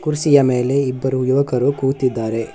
ಕುರ್ಸಿ ಯ ಮೇಲೆ ಇಬ್ಬರು ಯುವಕರು ಕೂತಿದ್ದಾರೆ.